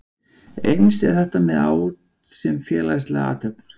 Eins er þetta með át sem félagslega athöfn.